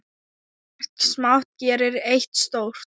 Margt smátt gerir eitt stórt!